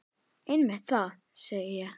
Einmitt það, segi ég.